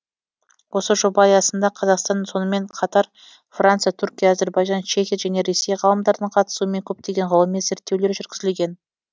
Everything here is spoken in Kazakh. осы жоба аясында қазақстан сонымен қатар франция түркия әзірбайжан чехия және ресей ғалымдарының қатысуымен көптеген ғылыми зерттеулер жүргізілген